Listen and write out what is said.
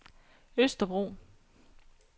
Østerbro